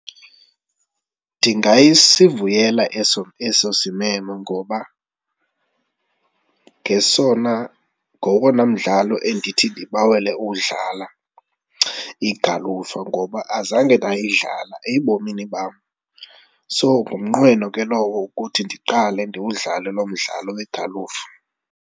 Ndingasivuyela eso eso simemo ngoba ngesona, ngowona mdlalo endithi ndibawele uwudlala, igalufa ngoba azange ndayidlala ebomini bam so ngumnqweno ke lowo ukuthi ndiqale ndiwudlale lo mdlalo wegalufa.